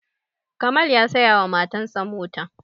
kamal ya saya wa matan sa mota